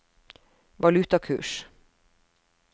valutakurs